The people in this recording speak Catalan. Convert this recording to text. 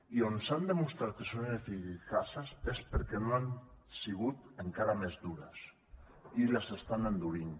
i on s’ha demostrat que són ineficaces és perquè no han sigut encara més dures i les estan endurint